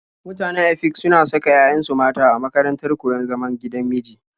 Mutanen Efik suna saka 'ya'yansu mata a makarantar koyon zaman gigan miji.